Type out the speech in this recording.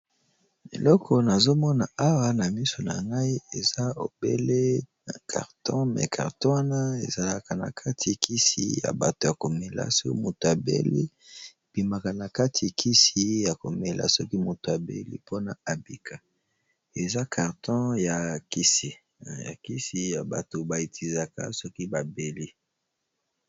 Eloko nazomona awa na miso na ngai eza obele carton me carto wana ezalaka na kati kisi ya bato ya komela soki moto abeli, ebimaka na kati kisi ya komela soki moto abeli mpona abika eza karton ya kisi ya bato baetizaka soki babeli.